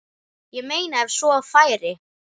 Ég meina ef svo færi.